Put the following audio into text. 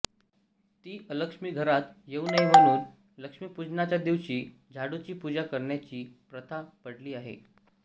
ती अलक्ष्मी घरात येऊ नये म्हणून लक्ष्मीपूजनाच्या दिवशी झाडूची पूजा करण्याची प्रथा पडली आहे